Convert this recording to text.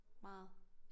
Meget